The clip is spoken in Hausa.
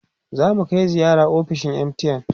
zamu Kai ziyara ofishin MTN